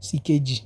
sì kejì.